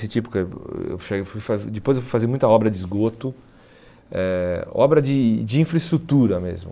Depois eu fui fazer muita obra de esgoto, eh obra de de infraestrutura mesmo.